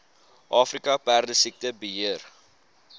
afrika perdesiekte beheer